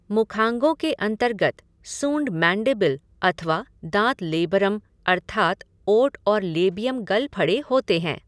मुखांगों के अन्तर्गत सूँड मेन्डीबिल अथवा दाँत लेबरम अर्थात ओट और लेबियम गलफड़े होते हैं।